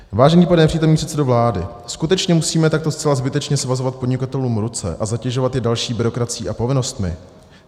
Vážený pane nepřítomný předsedo vlády, skutečně musíme takto zcela zbytečně svazovat podnikatelům ruce a zatěžovat je další byrokracií a povinnostmi?